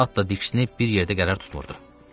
At da diksinib bir yerdə qərar tutmurdu.